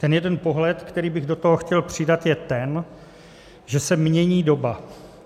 Ten jeden pohled, který bych do toho chtěl přidat, je ten, že se mění doba.